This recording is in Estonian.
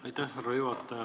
Aitäh, härra juhataja!